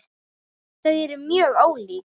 Þau eru mjög ólík.